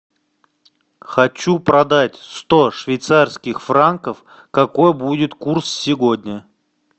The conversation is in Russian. хочу продать сто швейцарских франков какой будет курс сегодня